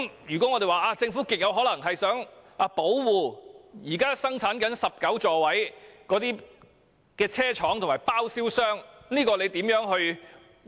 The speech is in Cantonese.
如果我們說政府極有可能是想保護現時生產19座位的車廠及包銷商，那麼當局將如何回應？